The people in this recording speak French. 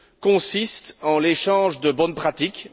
consiste en l'échange de bonnes pratiques.